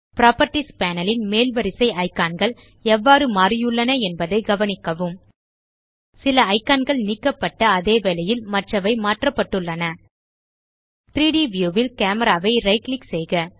properties panel ன் மேல் வரிசை இக்கான் கள் எவ்வாறு மாறியுள்ளன என்பதைக் கவனிக்கவும் சில இக்கான் கள் நீக்கப்பட்ட அதேவேளையில் மற்றவை மாற்றப்பட்டுள்ளன 3ட் வியூ ல் கேமரா ஐ ரைட் கிளிக் செய்க